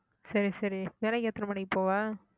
சரி சரி வேலைக்கு எத்தன மணிக்கு போவ